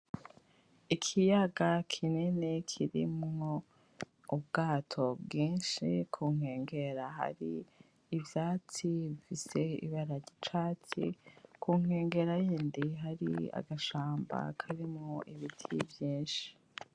Ikiyaga kinini kirimwo ubwato bwinshi kunkengera hari ivyatsi bifise ibara ryicatsi, kunkengera yindi hari agashamba karimwo ibiti vynshi.